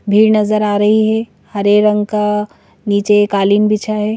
भीड़ नजर आ रही है हरे रंग का नीचे कालीन बिछा है।